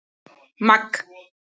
Magg